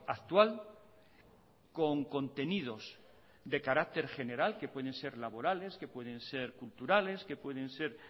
actual con contenidos de carácter general que pueden ser laborales que pueden ser culturales que pueden ser